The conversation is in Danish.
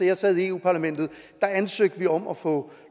jeg sad i europa parlamentet ansøgte vi om at få